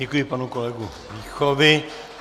Děkuji panu kolegu Víchovi.